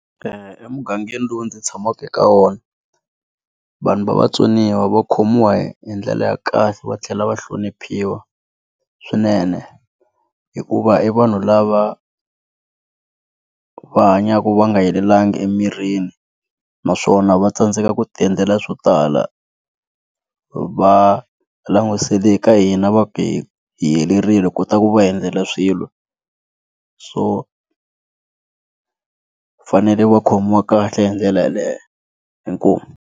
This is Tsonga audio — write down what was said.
Emugangeni lowu ndzi tshamaka eka wona vanhu va vatsoniwa va khomiwa hi ndlela ya kahle va tlhela va hloniphiwa swinene hikuva i vanhu lava va hanyaka va nga helelangai emirini naswona va tsandzeka ku ti endlela swo tala va langusele ka hina va ku hi helerile kota ku va endlela swilo so fanele va khomiwa kahle hi ndlela yaleyo inkomu.